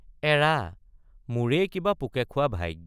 এৰা—মোৰেই কিবা পোকে খোৱা ভাইগ।